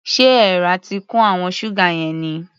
Ṣé èèrà ti kun àwọn ṣúgà yẹn ni?